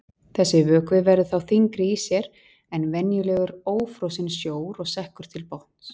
Þessi vökvi verður þá þyngri í sér en venjulegur ófrosinn sjór og sekkur til botns.